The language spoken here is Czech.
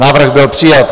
Návrh byl přijat.